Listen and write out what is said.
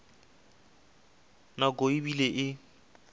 nako e be e le